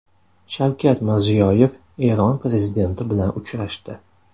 Shavkat Mirziyoyev Eron prezidenti bilan uchrashdi.